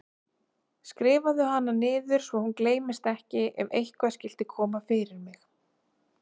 Skrifaðu hana niður svo hún gleymist ekki ef eitthvað skyldi koma fyrir mig.